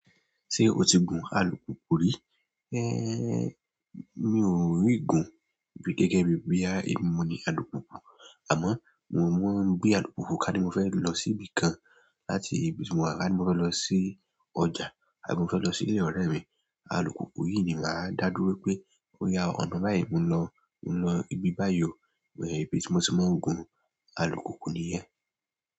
Ṣé o tí gun alùpùpù rí? Eh, mi ò rí gun gẹ́gẹ́ bí bóyá èmi ni moni alùpùpù. Amọ mo máa ń gbé alùpùpù ká ni mo fẹ losi ibìkan láti ibi tí mowa, kani mo fẹ lọsi ọjà àbí mo fẹ lọsi ilé ọrẹ mi alùpùpù yìí ni máa ń dá dúró pé ó yá ọ̀nà báyìí mò ń lọ, mò ń lọ ibi báyìí o, ibi tí mo tí máa ń gun alùpùpù nìyẹn.